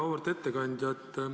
Auväärt ettekandja!